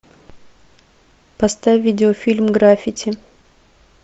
поставь видеофильм граффити